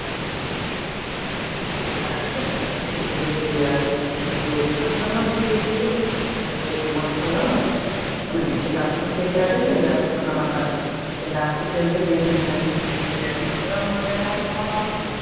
அது செய்ய தெரியாது. சில பேருக்கு மட்டும் தான் அது செய்ய தெரியும், சில பேருக்கு மட்டும் தான் அதுக்கு பண்ண முடியும் எல்லாருக்கும் தெரியாது எல்லாரும் பண்ண மாட்டாங்க. எல்லாருக்கும் தெரிஞ்சது என்னன்ன வீட்டுல இருப்பாங்க அவங்க வேலை அவங்க பாப்பாங்க.